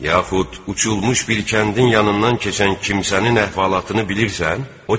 Yaxud uçulmuş bir kəndin yanından keçən kimsənin əhvalatını bilirsən?